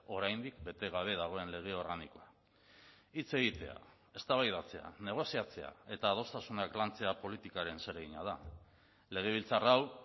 oraindik bete gabe dagoen lege organikoa hitz egitea eztabaidatzea negoziatzea eta adostasunak lantzea politikaren zeregina da legebiltzar hau